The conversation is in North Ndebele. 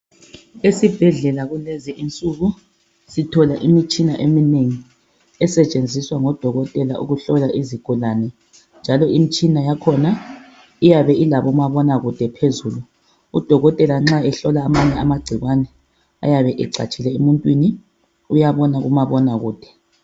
Esibhedlela kulezinsuku sithola imitshina eminengi esetshenziswa ngodokotela ukuhlola izigulane njalo imitshina yakhona iyabe ilabomabonakude phezulu udokotela nxa ehlola amanye amagcikwane ayabe ecatshile emuntwini uyabona kumabonakude.